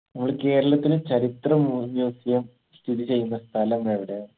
നമ്മളെ കേരളത്തിന്റെ ചരിത്ര മു museum സ്ഥിതി ചെയ്യുന്ന സ്ഥലം എവിടെ